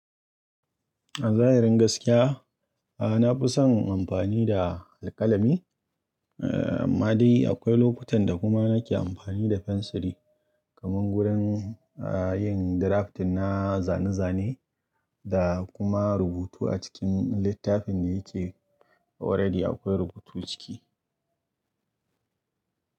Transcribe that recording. A zahirin gaskiya, a na fi son amfani da alkalami. Eh, ma dai akwai lokutan da kuma na ke amfani da fensiri. Kaman gurin, yin drafting na zane-zane da kuma rubutu a cikin littafin da ya ke oredi akwai rubutu ciki.